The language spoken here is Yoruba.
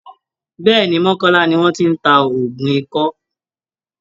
Bẹ́ẹ̀́ẹ̀ ni, mọ́kọ́lá ni wọ́n ti ń ta òògùn ikọ́